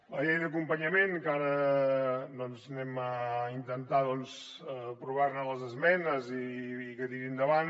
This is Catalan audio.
la llei d’acompanyament que ara intentarem aprovar ne les esmenes i que tiri endavant